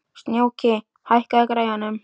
Snjóki, hækkaðu í græjunum.